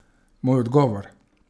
Moj odgovor?